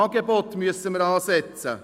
Wir müssen beim Angebot ansetzen.